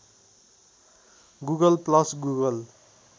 Google plus Google